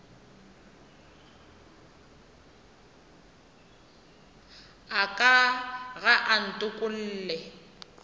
a ka ga a ntokolle